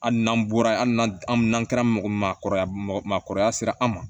Hali n'an bɔra hali n'a n'an kɛra mɔgɔkɔrɔba mɔgɔ maakɔrɔba sera an ma